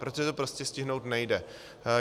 Protože to prostě stihnout nejde.